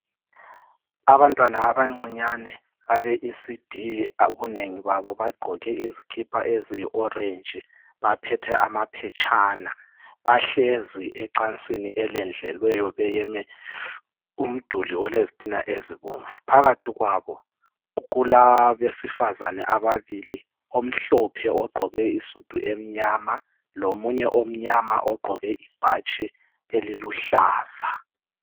Abantwana abancinyane abe ECD, ubunengi babo bagqoke izikipa eziyi orange. Baphethe amaphetshana bahlezi ecansini elendlelweyo beyeme umduli olezitina ezibomvu. Phakathi kwabo kulabedifazane ababili omhlophe ogqoke isidu emnyama lomunye omnyama ogqoke ibhatshi eliluhlaza.